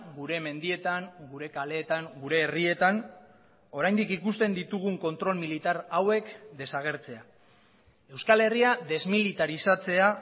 gure mendietan gure kaleetan gure herrietan oraindik ikusten ditugun kontrol militar hauek desagertzea euskal herria desmilitarizatzea